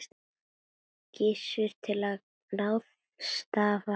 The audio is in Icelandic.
Gissur: Til að ráðstafa hvernig?